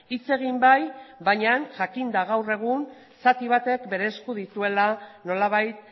hitz egin bai baina jakinda gaur egun zati batek bere esku dituela nolabait